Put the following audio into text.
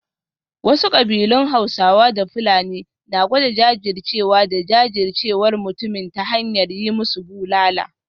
Wasu kabilun Hausawa da Fulani na gwada jajircewa da jajircewar mutumin ta hanyar yi musu bulala